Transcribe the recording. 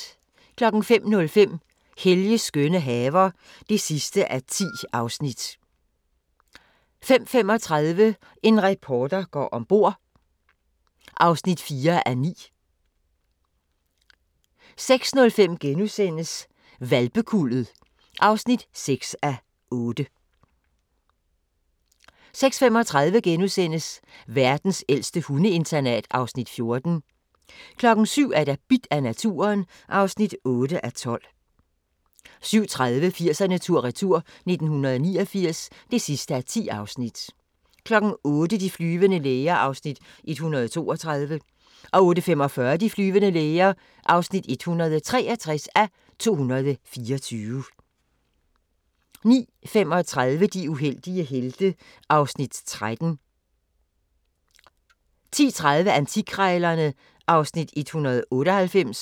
05:05: Helges skønne haver (10:10) 05:35: En reporter går om bord (4:9) 06:05: Hvalpekuldet (6:8)* 06:35: Verdens ældste hundeinternat (Afs. 14)* 07:00: Bidt af naturen (8:12) 07:30: 80'erne tur-retur: 1989 (10:10) 08:00: De flyvende læger (162:224) 08:45: De flyvende læger (163:224) 09:35: De uheldige helte (Afs. 13) 10:30: Antikkrejlerne (Afs. 198)